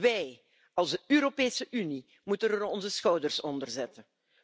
Wij als Europese Unie moeten onze schouders eronder zetten.